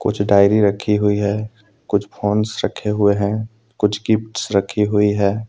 कुछ डायरी रखी हुई है कुछ फोंस रखे हुए है कुछ गिफ्ट्स रखी हुई है।